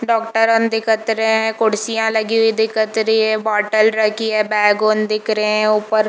doctor अन दिखत रहै है कुर्सियां लगी हुई दिखत रही है बोतल रखी है बैग उन दिख रहै है ऊपर --